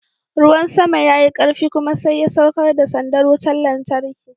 Ruwan sama ya yi karfi kuma sai ya saukar da sandar wutar lantarki.